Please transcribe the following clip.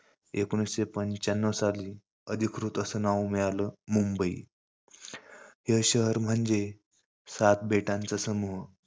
एकोणविशे पंच्यान्नव साली अधिकृत असं नाव मिळालं, मुंबई. हे शहर म्हणजे सात बेटांचा समूह.